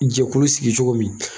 Jɛkulu sigi cogo min